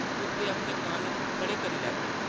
कुत्तें अपने कन्न खड़े करी लैते ।